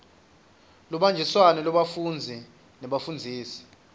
lubanjiswano lwebafundzi nebafundzisi